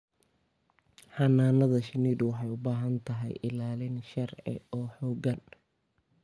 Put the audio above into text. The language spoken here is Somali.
Xannaanada shinnidu waxay u baahan tahay ilaalin sharci oo xooggan.